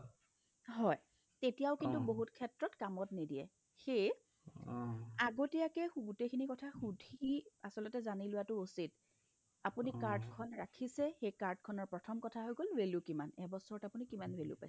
হয়, তেতিয়াও কিন্তু বহুত ক্ষেত্ৰত কামত নিদিয়ে সেয়ে আগতীয়াকে গো গোটেখিনি কথা আচলতে সুধি জানি লোৱাটো উচিত আপুনি card খন ৰাখিছে সেই card খনৰ প্ৰথম কথা হৈ গ'ল value কিমান ?এবছৰত আপুনি কিমান value পাইছে ?